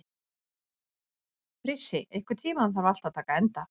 Frissi, einhvern tímann þarf allt að taka enda.